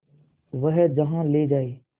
वह जहाँ ले जाए